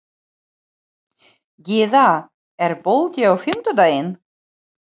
Gyða, er bolti á fimmtudaginn?